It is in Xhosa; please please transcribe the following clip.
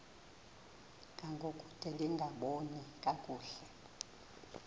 ngangokude lingaboni kakuhle